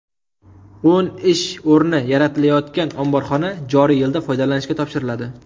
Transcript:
O‘n ish o‘rni yaratilayotgan omborxona joriy yilda foydalanishga topshiriladi.